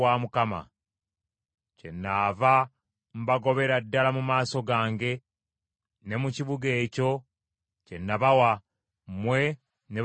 kyenaava mbagobera ddala mu maaso gange ne mu kibuga ekyo kye nabawa, mmwe ne bakitammwe.